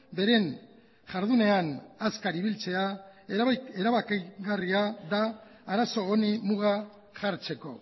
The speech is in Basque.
beren jardunean azkar ibiltzea erabakigarria da arazo honi muga jartzeko